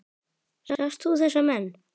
Sást þú þessa menn?